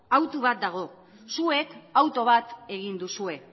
hautu bat dago zuek hautu bat egin duzue